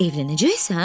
Evlənəcəksən?